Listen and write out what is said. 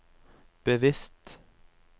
bevisst